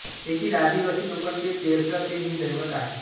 येथील आदिवासी लोकांचे पेरसा पेन हे दैवत आहे